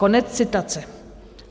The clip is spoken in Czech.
Konec citace.